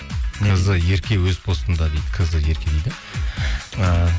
кз ерке өз постында дейді кз ерке дейді ааа